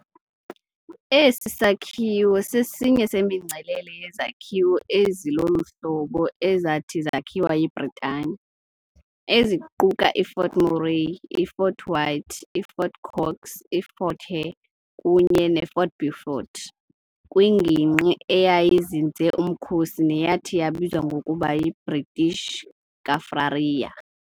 Esi sakhiwo sesinye semingcelele yezakhiwo ezi lolu hlobo ezathi zakhiwa yiBritane, eziquka iFort Murray, iFort White, iFort Cox, iFort Hare kunye neFort Beaufort, kwingingqi eyayizinze umkhosi neyathi yabizwa ngokuba yiBritish Kaffraria.